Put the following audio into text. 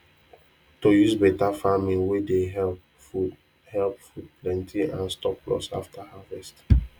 to use better farming way dey help food help food plenty and stop loss after harvest